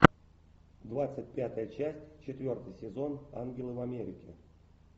двадцать пятая часть четвертый сезон ангелы в америке